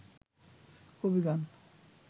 কবিগান